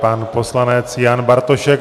Pan poslanec Jan Bartošek.